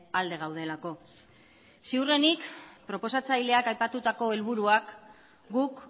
alde gaudelako ziurrenik proposatzaileak aipatutako helburuak guk